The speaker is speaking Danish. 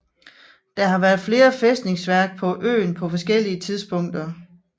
Der har været flere fæstningsværk på øen på forskellige tidspunkter